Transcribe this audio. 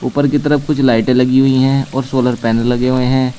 ऊपर की तरफ कुछ लाइटें लगी हुई है और सोलर पैनल लगे हुए हैं।